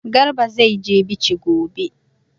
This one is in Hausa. Garba zai je Bichi gobe.